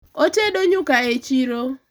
otedo nyuka e chiro